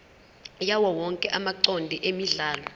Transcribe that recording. yawowonke amacode emidlalo